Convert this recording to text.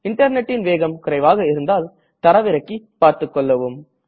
இன்டர்நெட்டின் வேகம் குறைவாக இருந்தால் தரவிறக்கி பார்த்துக்கொள்ளவும்